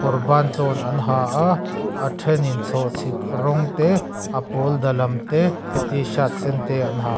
kawr bantlawn an ha a a thenin chhawhchhi rawng te a pawl da lam te t shirt sen te an ha--